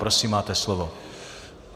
Prosím, máte slovo.